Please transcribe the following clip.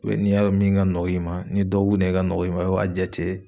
ni y'a dɔn min ka nɔgɔ i ma, ni ye dɔgɔkun de ka nɔgɔ i ma i b'a jate